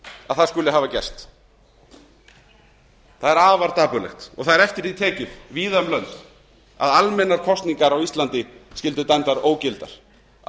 að það skuli hafa gerst það er afar dapurlegt og það er eftir því tekið víða um lönd að almennar kosningar á íslandi skyldu dæmdar ógildar af hverju